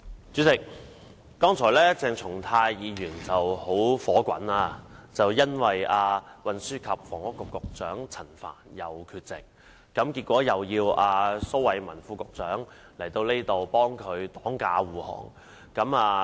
主席，剛才鄭松泰議員很憤怒，因為運輸及房屋局局長陳帆又缺席，結果又要蘇偉文副局長來立法會為他擋駕護航。